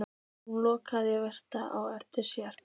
Hún lokaði vandlega á eftir sér.